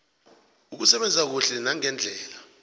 ukusebenza kuhle nangendlela